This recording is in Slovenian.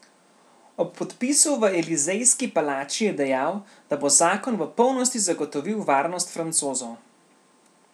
Ob podpisu v Elizejski palači je dejal, da bo zakon v polnosti zagotovil varnost Francozov.